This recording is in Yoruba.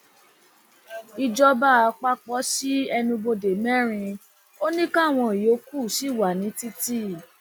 ìjọba àpapọ sí ẹnubodè mẹrin ò ní káwọn yòókù ṣì wà ní títì